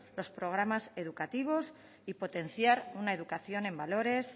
los programas educativos y potenciar una educación en valores